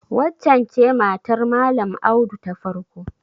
Waccen ce matar Malam Audu ta farko?